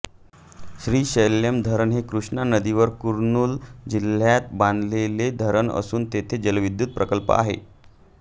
श्री शैल्यम धरण हे कृष्णा नदीवर कुर्नूल जिल्ह्यात बांधलेले धरण असून येथे जलविद्युत प्रकल्प आहे